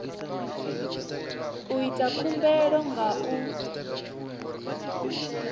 u ita khumbelo nga u